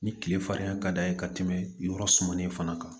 Ni tile fariya ka d'a ye ka tɛmɛ yɔrɔ sumanin in fana kan